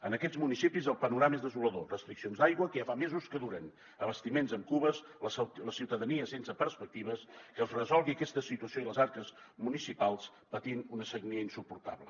en aquests municipis el panorama és desolador restriccions d’aigua que ja fa mesos que duren abastiments amb cubes la ciutadania sense perspectives que es resolgui aquesta situació i les arques municipals patint una sagnia insuportable